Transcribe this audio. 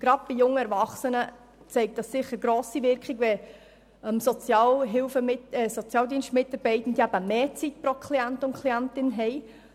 Gerade bei jungen Erwachsenen zeigt es sicher grosse Wirkung, wenn Sozialdienstmitarbeitende mehr Zeit pro Klient und Klientin haben.